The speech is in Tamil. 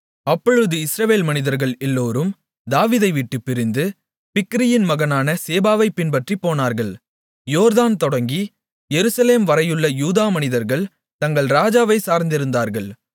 அப்பொழுது இஸ்ரவேல் மனிதர்கள் எல்லோரும் தாவீதைவிட்டுப் பிரிந்து பிக்கிரியின் மகனான சேபாவைப் பின்பற்றிப் போனார்கள் யோர்தான் தொடங்கி எருசலேம் வரையுள்ள யூதா மனிதர்கள் தங்கள் ராஜாவைச் சார்ந்திருந்தார்கள்